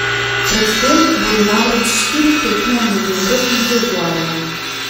Pred tem bodo namreč štiri tekme v novembru in februarju.